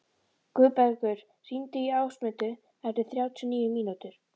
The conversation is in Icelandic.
Guðbergur, hringdu í Ásmundu eftir þrjátíu og níu mínútur.